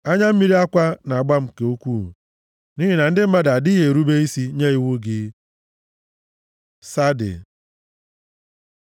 Anya mmiri akwa na-agba m nke ukwuu nʼihi na ndị mmadụ adịghị erube isi nye iwu gị. צ Tsade